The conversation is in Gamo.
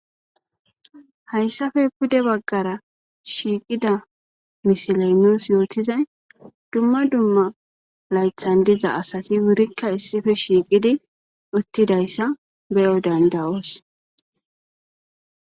Hayssafe pude baggara shiiqida misiley nuus yootizay dumma dumma laythan diza asati wurikka issippe shiiqidi uttidayssa beyo danda'oos.